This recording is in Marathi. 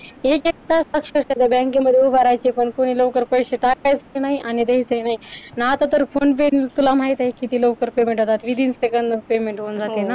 एक एक तास अक्षरशा त्या बँकेमध्ये उभे राहायचे पण कोणी लवकर पैसे टाकायचे नाहीत आणि पैसे द्यायचं नाही आणि आता तर phone pay तुला माहिती आहे किती लवकर payment होतात within second त payment होऊन जातो ना